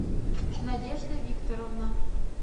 надежда викторовна